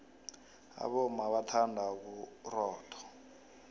abomma bathanda ubuxotho